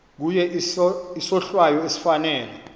kuye isohlwayo esifanele